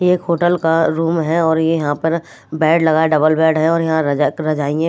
ये एक होटल का रूम है और ये यहां पर बेड लगा है डबल बेड है और यहां रजक राजाई है।